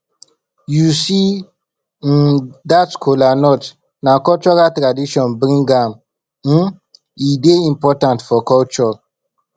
you um see dat kola nut na cultural tradition bring am um e dey important for culture